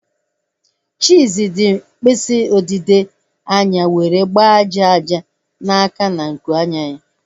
Chizzy ji mkpịsị odide anya nwere agba aja aja na-aka na nku anya ya